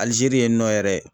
Alizeri yen nɔ yɛrɛ